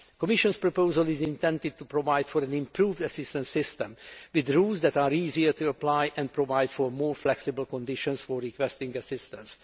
The Commission's proposal is intended to provide for an improved assistance system, with rules that are easier to apply and provide for more flexible conditions for requesting assistance.